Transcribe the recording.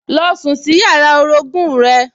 Lọ sùn sí yàrá orogún-ùn rẹ